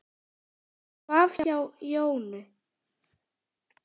Ég svaf hjá Jónu.